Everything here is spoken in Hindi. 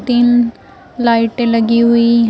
तीन लाइटें लगी हुई हैं।